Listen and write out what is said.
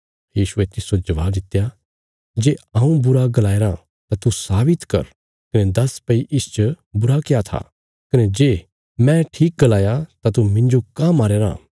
यीशुये तिस्सो जबाब दित्या जे हऊँ बुरा गलाया राँ तां तू साबित कर कने दस भई इसच बुरा क्या था कने जे मैं ठीक गलाया तां तू मिन्जो काँह मारया राँ